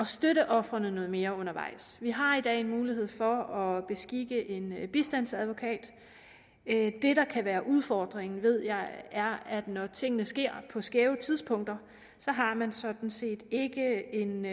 støtte ofrene noget mere undervejs vi har i dag en mulighed for at beskikke en bistandsadvokat det der kan være udfordringen ved jeg er at når tingene sker på skæve tidspunkter har man sådan set ikke en